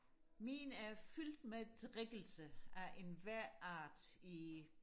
min er fyldt med drikkelse af enhver art i